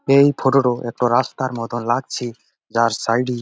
এই ফটো টো একটা রাস্তার মতো লাগছে যার সাইড এ--